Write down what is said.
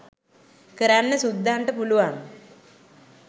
කරන්න සුද්දන්ට පුළුවන්